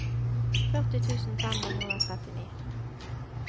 førti tusen fem hundre og trettini